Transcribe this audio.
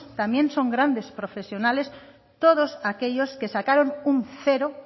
también son grandes profesionales todos aquellos que sacaron un cero